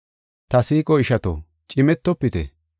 Ta siiqo ishato, cimetofite.